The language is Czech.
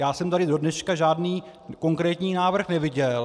Já jsem tady do dneška žádný konkrétní návrh neviděl.